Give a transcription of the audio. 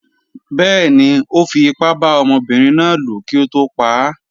Bẹ́ẹ̀ni, Ó fi ipá bá ọmọbinrin náà lò kí ó tó pa á.